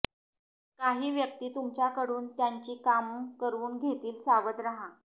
काही व्यक्ती तुमच्याकडून त्यांची कामं करवून घेतील सावध राहा